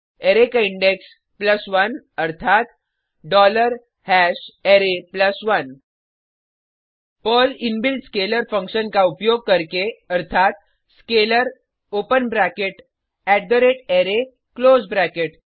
array का index 1 अर्थात array 1 Perl inbuilt scalar function का उपयोग करके अर्थात scalar open bracket array close bracket